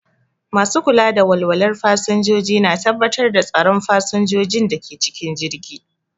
Masu kula da walwalar fasinjoji na tabbatar da tsaron fasinjojin da ke cikin jirgi.